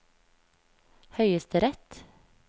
høyesterett